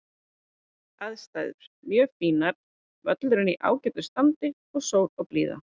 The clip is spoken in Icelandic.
Aðstæður: Mjög fínar, völlurinn í ágætu standi og sól og blíða.